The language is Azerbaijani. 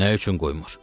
Nə üçün qoymur?